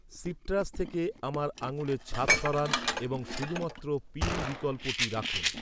Citrus থেকে আমার আঙুলের ছাপ সরান এবং শুধুমাত্র পিন বিকল্পটি রাখুন!